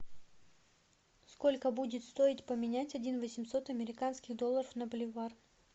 сколько будет стоить поменять один восемьсот американских долларов на боливар